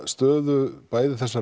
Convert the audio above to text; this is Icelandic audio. stöðu bæði þessa